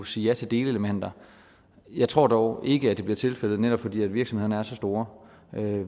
sige ja til delelementer jeg tror dog ikke at det bliver tilfældet netop fordi virksomhederne er så store